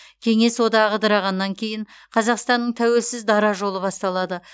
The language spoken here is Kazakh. кеңес одағы ыдырағаннан кейін қазақстанның тәуелсіз дара жолы басталады